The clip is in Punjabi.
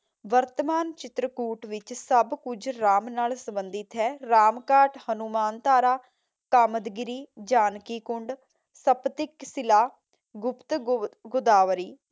ਵਰਤਮਾਨ ਚਿਤਰਕੂਟ ਵਿੱਚ ਸਭ ਕੁਝ ਰਾਮ ਨਾਲ ਸੰਭੰਧਿਤ ਹੈ। ਰਾਮ ਘਾਟ, ਹਨੂਮਾਨ ਧਾਰਾ, ਕਾਮਦਗੀਰੀ, ਜਾਨਕੀ ਕੁੰਡ, ਸਪਤਿਕ ਸ਼ਿਲਾ, ਗੁਪਤ ਗੁਵ ਗੋਦਾਵਰੀ